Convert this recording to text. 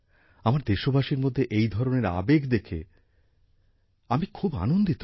আমার দেশবাসীর মধ্যে এই ধরনের আবেগ দেখে আমি খুব আনন্দিত হই